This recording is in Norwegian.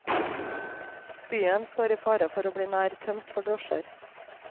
Byen står i fare for å bli nær tømt for drosjer.